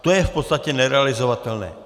To je v podstatě nerealizovatelné.